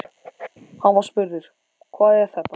Hann var spurður: Hvað er þetta?